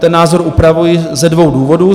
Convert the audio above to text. Ten názor upravuji ze dvou důvodů.